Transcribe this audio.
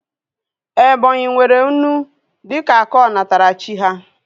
Ebonyi nwere unu dịka akụ onatarachi ha